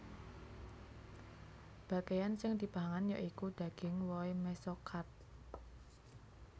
Bagéyan sing dipangan ya iku daging wohé mesokarp